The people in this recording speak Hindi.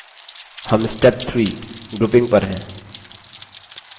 हम step 3grouping पर हैं